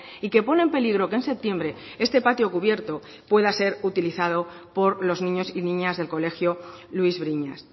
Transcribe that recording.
y que pone en peligro que en septiembre este patio cubierto pueda ser utilizado por los niños y niñas del colegio luis briñas